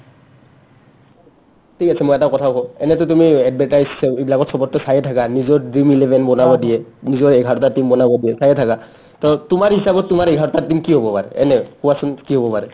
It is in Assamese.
ঠিক আছে মই এটা কথা কও এনেটো তুমি advertise চ এইবিলাকত চবতে চায়ে থাকা নিজৰ dream eleven বনাব দিয়ে নিজৰ এঘাৰটা team বনাব দিয়ে চায়ে থাকা to তোমাৰ হিচাপত তোমাৰ এঘাৰটা team কি হ'ব পাৰে but এনে কোৱাচোন কি হ'ব পাৰে ?